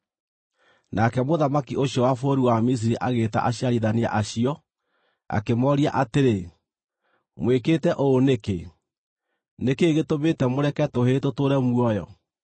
Nake mũthamaki ũcio wa bũrũri wa Misiri agĩĩta aciarithania acio, akĩmooria atĩrĩ, “Mwĩkĩte ũũ nĩkĩ? Nĩ kĩĩ gĩtũmĩte mũreke tũhĩĩ tũtũũre muoyo?”